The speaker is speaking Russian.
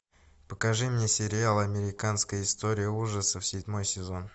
покажи мне сериал американская история ужасов седьмой сезон